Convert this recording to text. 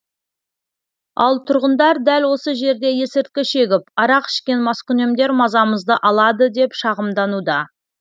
ал тұрғындар дәл осы жерде есірткі шегіп арақ ішкен маскүнемдер мазамызды алады деп шағымдануда